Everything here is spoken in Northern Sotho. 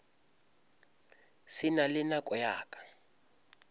se na le nako ya